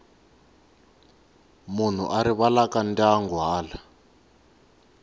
munhu a rivalaka ndyangu hala